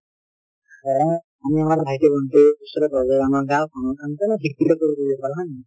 ধৰা আমি আমাৰ ভাইটি ভন্টি , ওচৰে পাজৰে আমাৰ গাঁও খনত অলপ শিক্ষিত কৰিবলৈ পাৰো, হয় নে নহয়?